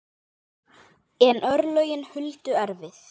En örlögin voru Huldu erfið.